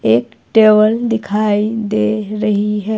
एक टेबल दिखाई दे रही है।